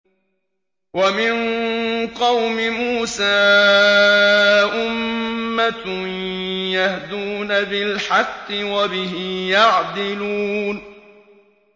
وَمِن قَوْمِ مُوسَىٰ أُمَّةٌ يَهْدُونَ بِالْحَقِّ وَبِهِ يَعْدِلُونَ